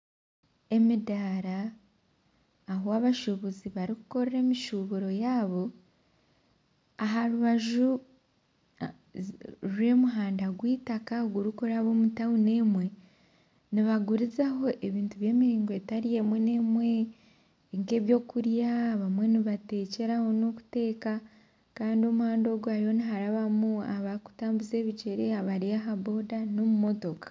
Emidara ahu abashubuzi barikukorera emishuburo yabo aha rubaju rw'omuhanda gw'eitaka gurikuraba omu tawuni emwe nibagurizaho ebintu by'emiringo etari emwe n'emwe nk'ebyokurya abamwe nibatekyeraho Kandi omuhanda ogu hariho niharabamu abarikutambuza ebigyere , abari aha boda n'omumotoka.